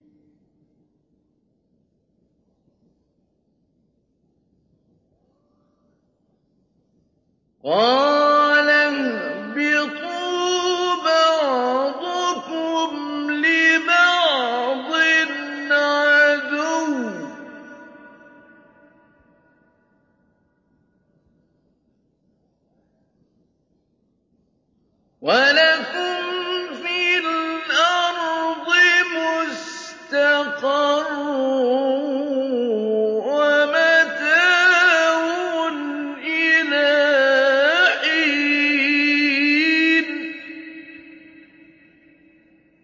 قَالَ اهْبِطُوا بَعْضُكُمْ لِبَعْضٍ عَدُوٌّ ۖ وَلَكُمْ فِي الْأَرْضِ مُسْتَقَرٌّ وَمَتَاعٌ إِلَىٰ حِينٍ